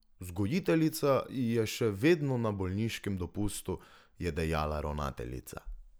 Vzgojiteljica je še vedno na bolniškem dopustu, je dejala ravnateljica.